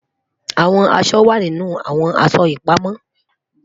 Awọn aṣọ wa ninu awọn aṣọ ipamọ